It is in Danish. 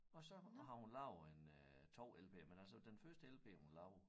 Og så har hun lavet en øh 2 lp'er men altså den første lp hun lavede